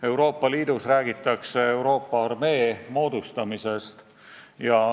Euroopa Liidus räägitakse Euroopa armee moodustamisest.